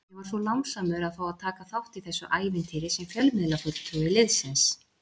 Ég var svo lánsamur að fá að taka þátt í þessu ævintýri sem fjölmiðlafulltrúi liðsins.